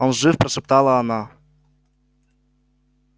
он жив прошептала она